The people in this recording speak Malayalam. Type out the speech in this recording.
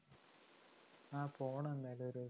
ആ പോണം എന്തായാലും ഒരു ദിവസം